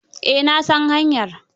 Eh na san hanyar.